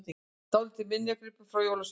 Dálítill minjagripur frá jólasveininum!